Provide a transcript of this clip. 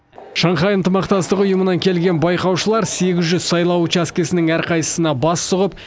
шанхай ынтымақтастық ұйымынан келген байқаушылар сегіз жүз сайлау учаскесінің әрқайсысына бас сұғып